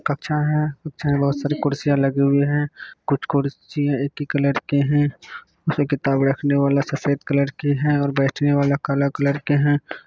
एक कच्छा बहुत सारे कुर्सियाँ लगे हुई है कुछ कुर्सी एक ही कलर के है वैसे किताबे रखने वाला सफेद कलर की है और बैठने वाला काला कलर के है।